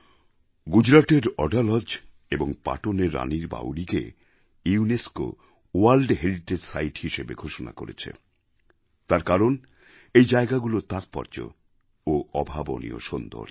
গুজরাটের অডালজ এবং পাটনের রানীর বাউরিকে ইউনেস্কো ভোর্ল্ড হেরিটেজ সিতে হিসেবে ঘোষণা করেছে তার কারণ এই জায়গাগুলোর তাৎপর্য ও অভাবনীয় সৌন্দর্য